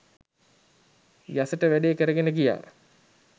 යසට වැඩේ කරගෙන ගියා.